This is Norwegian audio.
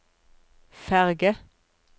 ferge